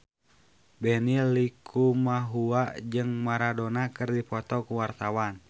Benny Likumahua jeung Maradona keur dipoto ku wartawan